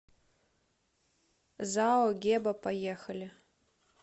зао геба поехали